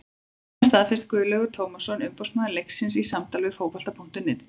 Þetta staðfesti Guðlaugur Tómasson umboðsmaður leikmannsins í samtali við Fótbolta.net í dag.